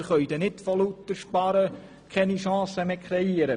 Wir können nicht vor lauter Sparen keine Chancen mehr kreieren!